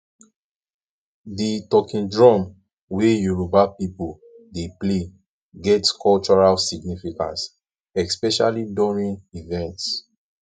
di talking drum wey yoruba people dey play get cultural significance especially during events